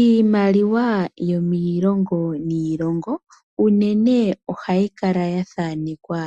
Iimaliwa yo miilongo niilongo unene ohayi kala ya thanekwa